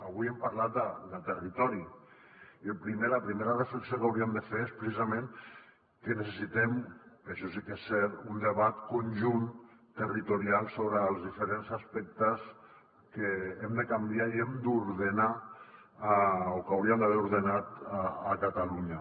avui hem parlat de territori i la primera reflexió que hauríem de fer és precisament que necessitem això sí que és cert un debat conjunt territorial sobre els diferents aspectes que hem de canviar i hem d’ordenar o que hauríem d’haver ordenat a catalunya